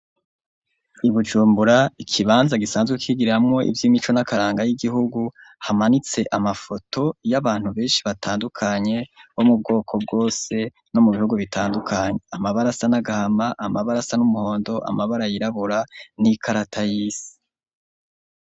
Ibujumbura, ikibanza gisanzwe kigiriramwo ivy'imico n'akaranga y'igihugu, hamanitse amafoto y'abantu benshi batandukanye bo mu bwoko bwose no mu bihugu bitandukanye. Amabara asa n'agahama, amabara asa n'umuhondo, amabara yirabura n'ikarata y'isi.